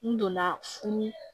N donna funu